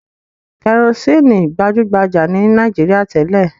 Kẹrosíínì gbajú-gbajà ní Nàìjíríà tẹ́lẹ̀.